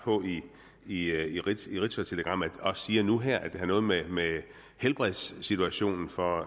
i ritzautelegrammet og siger nu her at det har noget med helbredssituationen for